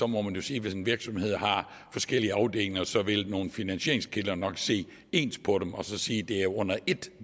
må man jo sige at hvis en virksomhed har forskellige afdelinger så vil nogle finansieringskilder nok se ens på dem og sige at det er under et